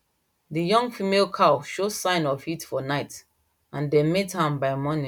the young female cow show sign of heat for night and dem mate am by morning